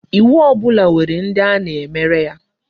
Iwu ọbụla nwere ndi a na-emere ya.